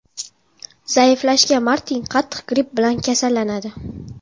Zaiflashgan Martin qattiq gripp bilan kasallanadi.